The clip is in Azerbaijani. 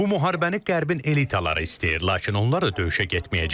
Bu müharibəni Qərbin elitaları istəyir, lakin onlar da döyüşə getməyəcəklər.